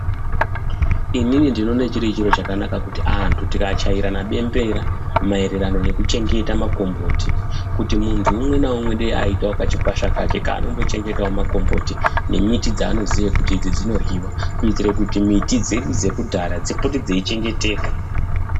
Inini ndinoona chiri chiro chakanaka kuti vantu Vakachaira bembera kuti muntu umwe naumwe kachikwasha kake. Kanombochengeta makomboti nembiti dzanoziva kuti dziborwiwa nekuti mbiti dzichengeteka.